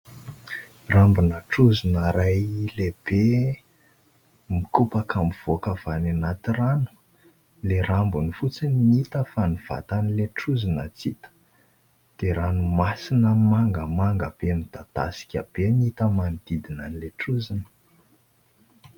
Rambona trozona iray lehibe mikopaka mivoaka avy any anaty rano. Ilay rambony fotsiny no hita fa ny vatan'ilay trozona tsy hita. DIa ranomasina mangamanga be midadasika be no hita manodidina an'ilay trozona.